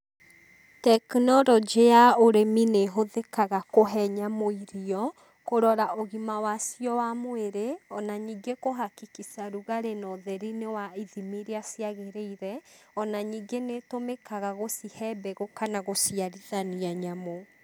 Tekinoronjĩ ya ũrĩmi nĩ ĩhũthĩkaga kũhe nyamũ irio, kũrora ũgima wacio wa mwĩrĩ, ona nyingĩ kũ hakikisha rugarĩ na ũtheri nĩ wa ithimi irĩa ciagĩrĩire, ona nyingĩ nĩ itũmĩkaga gũcihe mbegũ kana gũciarithania nyamũ.